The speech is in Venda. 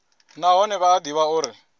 nahone vha a ḓivha uri